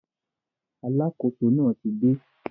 Alákóso náà ti dé